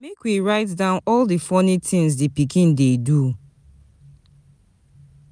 Make we write down all di funny things di pikin dey do.